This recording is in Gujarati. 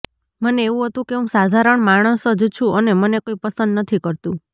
મને એવુ હતુ કે હું સાધારણ માણસ જ છું અને મને કોઈ પસંદ નથી કરતું